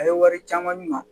A ye wari caman di